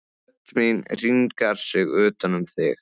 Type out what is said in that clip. Rödd mín hringar sig utan um þig.